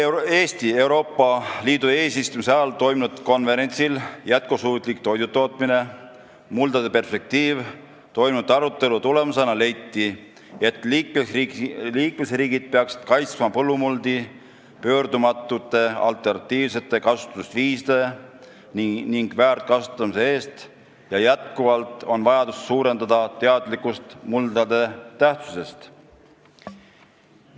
Eesti Euroopa Liidu eesistumise ajal toimunud konverentsil "Jätkusuutlik toidutootmine: muldade perspektiiv" toimunud arutelu tulemusena leiti, et liikmesriigid peaksid kaitsma põllumuldi pöördumatute alternatiivsete kasutusviiside ja väärkasutamise eest ning endiselt on vajadus suurendada teadlikkust muldade tähtsusest.